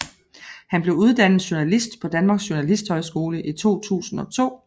Han blev uddannet journalist på Danmark Journalisthøjskole i 2002